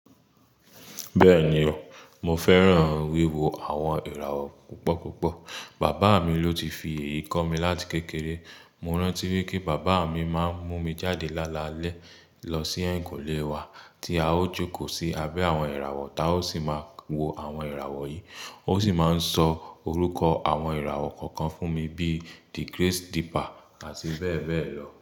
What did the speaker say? Bẹ́ẹ̀ni o, mo fẹ́ràn wíwo àwọn ìràwọ̀ púpọ̀púpọ̀. Bàbá mi ló ti fi èyí kọ́ mi láti kékeré. Mo rántí wipé bàbá mi máa ń mú mi jáde lálalẹ́ lọ sí ẹ̀yìnkùlé wa tí a ó jókòó sí abẹ́ àwọn ìràwọ̀, táa ó sì máa wo àwọn ìràwọ̀ yìí. Ó sì máa ń sọ orúkọ àwọn ìràwọ̀ kọ̀ọ̀kan fún mi bí i digrace dipper àti bẹ́ẹ̀ bẹ́ẹ̀ lọ.